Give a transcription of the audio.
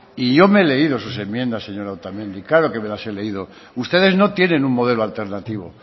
y yo me he leído sus enmiendas señora otamendi claro que me las he leído ustedes no tienen un modelo alternativo